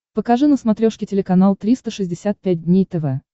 покажи на смотрешке телеканал триста шестьдесят пять дней тв